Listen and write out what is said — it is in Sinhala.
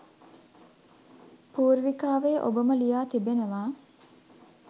පූර්විකාවේ ඔබම ලියා තිබෙනවා.